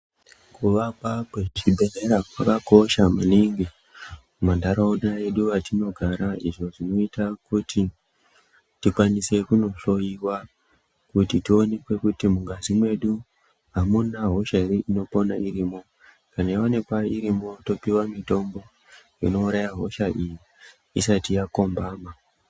Kuvakwa kwezvibhedhlera kwakakosha maningi muntaraunda mwedu matinogara. Izvo zvinoita kuti tikwanise kunohloiwa, kuti tionekwe kuti mungazi mwedu amuna hosha ere inokona irimwo. Kana yaonekwq irimwo topuwa mitombo inouraya hosha iyi isati yakombama.